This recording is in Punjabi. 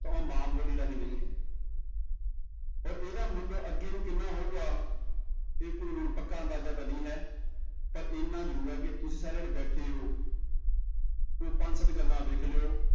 ਤਾਂ ਉਹ ਮਾਂ ਬੋਲੀ ਰਾਹੀਂ ਨਹੀਂ ਹੈ ਔਰ ਇਹਦਾ ਮੁੱਲ ਅੱਗੇ ਵੀ ਕਿੰਨਾ ਹੋਊਗਾ, ਇਹ ਕੋਈ ਹੁਣ ਪੱਕਾ ਅੰਦਾਜ਼ਾ ਤਾਂ ਨਹੀਂ ਹੈ ਪਰ ਇੰਨਾ ਜ਼ਰੂਰ ਹੈ ਕਿ ਤੁਸੀਂ ਸਾਰੇ ਜਿਹੜੇ ਬੈਠੇ ਹੋ ਉਹ ਪੰਜ ਸੱਤ ਗੱਲਾਂ ਵੇਖ ਲਇਓ